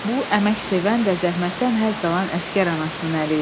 Bu əməksevən və zəhmətdən həzz alan əsgər anasının əli idi.